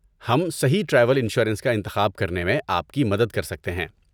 ہم صحیح travel insurance کا انتخاب کرنے میں آپ کی مدد کر سکتے ہیں۔